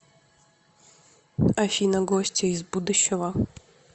афина гостья из будущего